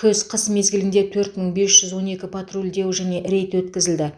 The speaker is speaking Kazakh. күз қыс мезгілінде төрт мың бес жүз он екі патрульдеу және рейд өткізілді